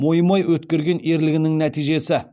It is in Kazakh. мойымай өткерген ерлігінің нәтижесі